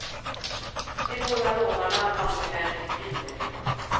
De båda rånarna hann emellertid fly därifrån.